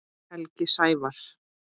Helgi Sævar.